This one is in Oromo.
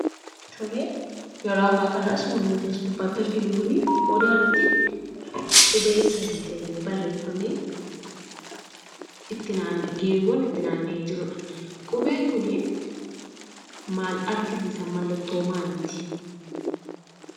Tolee, yeroo ammaa kana suurri as gubbaa irratti arginu kun Odaa irratti qubee sadii ta'ee barreeffamee, geengoon itti naanna'ee jirudha. Qubeen Kunii maal argisiisa? Mallattoo maaliiti?